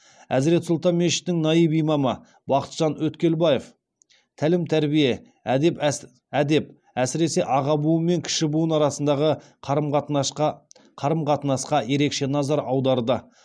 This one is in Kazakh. әзірет сұлтан мешітінің наиб имамы бақытжан өткелбаев тәлім тәрбие әдеп әсіресе аға буын мен кіші буын арасындағы қарым қатынасқа ерекше назар аударды